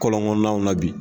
Kɔlɔnkɔnɔnaw na bi